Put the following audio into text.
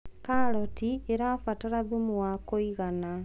karoti irabatara thumu wa kũigana